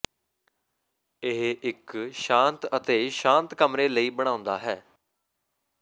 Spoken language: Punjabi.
ਇਹ ਇੱਕ ਸ਼ਾਂਤ ਅਤੇ ਸ਼ਾਂਤ ਕਮਰੇ ਲਈ ਬਣਾਉਂਦਾ ਹੈ